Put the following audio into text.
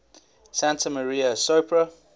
santa maria sopra